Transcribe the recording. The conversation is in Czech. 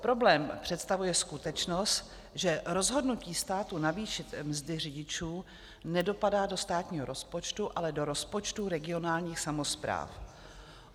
Problém představuje skutečnost, že rozhodnutí státu navýšit mzdy řidičů nedopadá do státního rozpočtu, ale do rozpočtů regionálních samospráv.